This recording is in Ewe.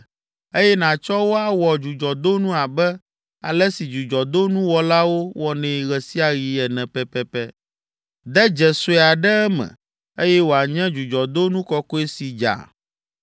eye nàtsɔ wo awɔ dzudzɔdonu abe ale si dzudzɔdonuwɔlawo wɔnɛ ɣe sia ɣi ene pɛpɛpɛ. De dze sue aɖe eme, eye wòanye dzudzɔdonu kɔkɔe si dza.